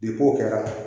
kɛra